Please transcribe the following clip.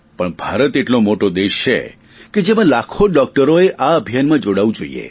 પણ ભારત એટલો મોટો દેશ છે કે તેમાં લાખો ડોકટરો એ આ અભિયાનમાં જોડાવું જોઇએ